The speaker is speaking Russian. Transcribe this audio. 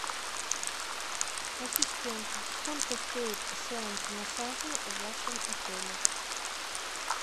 ассистент сколько стоит сеанс массажа в вашем отеле